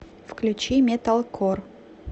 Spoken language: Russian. включи металкор